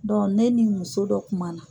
ne ni muso dɔ kuma na.